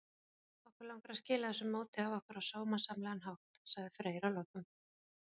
Okkur langar að skila þessu móti af okkur á sómasamlegan hátt, sagði Freyr að lokum.